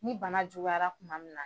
Ni bana juguyara kuma min na.